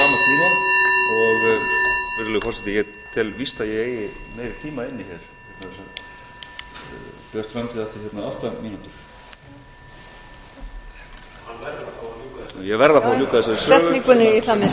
tel víst að ég eigi meiri tíma inni hér vegna þess að björt framtíð átti hérna átta mínútur ég verð að fá að ljúka þessari sögu